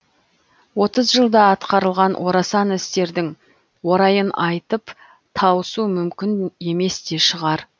отыз жылда атқарылған орасан істердің орайын айтып тауысу мүмкін емес те шығар